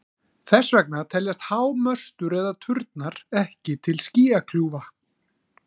Þess vegna teljast há möstur eða turnar ekki til skýjakljúfa.